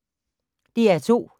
DR2